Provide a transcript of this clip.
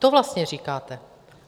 To vlastně říkáte.